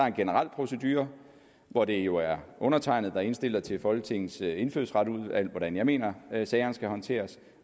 en generel procedure hvor det jo er undertegnede der indstiller til folketingets indfødsretsudvalg hvordan jeg mener at sagerne skal håndteres